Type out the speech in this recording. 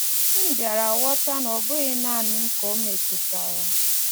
M bịara ghọta na ọ bụghị nanị m ka o metụtara.